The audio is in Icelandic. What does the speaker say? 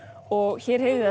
og hér heyrið